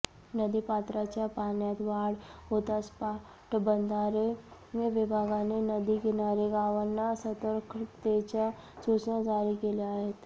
नदीपात्राच्या पाण्यात वाढ होताच पाटबंधारे विभागाने नदी किनारी गावांना सतर्कतेच्या सुचना जारी केल्या आहेत